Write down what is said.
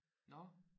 Nåh